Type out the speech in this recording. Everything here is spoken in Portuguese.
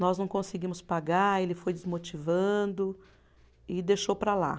Nós não conseguimos pagar, ele foi desmotivando e deixou para lá.